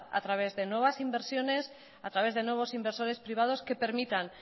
a través de nuevas inversiones a través de nuevos inversores privados que permitan